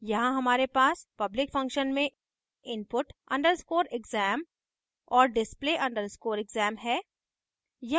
यहाँ हमारे पास public functions में input _ exam और display _ exam है